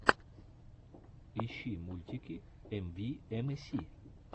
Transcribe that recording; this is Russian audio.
ищи мультики эмвиэмэси